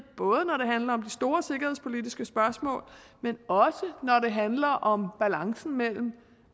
både når det handler om de store sikkerhedspolitiske spørgsmål men også når det handler om balancen mellem